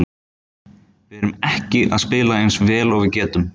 Við erum ekki að spila eins vel og við getum.